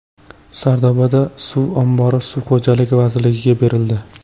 Sardoba suv ombori Suv xo‘jaligi vazirligiga berildi.